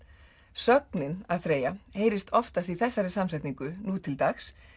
sögnin að þreyja heyrist oftast í þessari samsetningu nú til dags